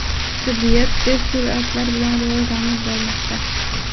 Tibbiyot tez sur’atlar bilan rivojlanib bormoqda.